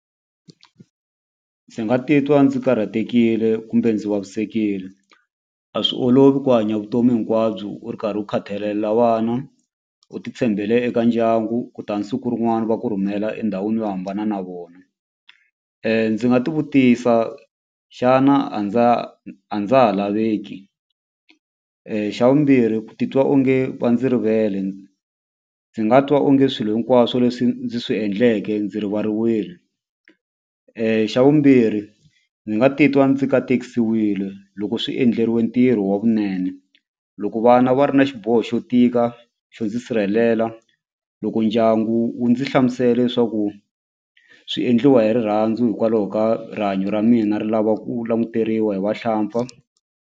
Ndzi nga titwa ndzi karhatekile kumbe ndzi vavisekile a swi olovi ku hanya vutomi hinkwabyo u ri karhi u khatalela vana u ti tshembele eka ndyangu kutani siku rin'wana va ku rhumela endhawini yo hambana na vona ndzi nga ti vutisa xana a ndza a ndza ha laveki xa vumbirhi ku titwa onge va ndzi rivele ndzi nga twa onge swilo hinkwaswo leswi ndzi swi endleke ndzi rivariwile xa vumbirhi ni nga titwa ndzi katekisiwile loko swi endleriwe ntirho wa kunene loko vana va ri na xiboho xo tika xo ndzi sirhelela loko ndyangu wu ndzi hlamusela leswaku swi endliwa hi rirhandzu hikwalaho ka rihanyo ra mina ri lava ku languteriwa hi vahlampfa.